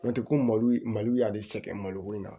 N'o tɛ ko malo malo y'ale sɛgɛn maloko in na